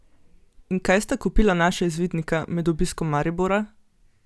In kaj sta kupila naša izvidnika med obiskom Maribora?